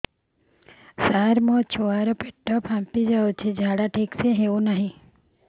ସାର ମୋ ଛୁଆ ର ପେଟ ଫାମ୍ପି ଯାଉଛି ଝାଡା ଠିକ ସେ ହେଉନାହିଁ